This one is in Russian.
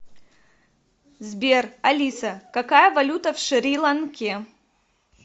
сбер алиса какая валюта в шри ланке